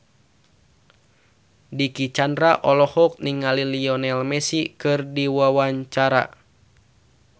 Dicky Chandra olohok ningali Lionel Messi keur diwawancara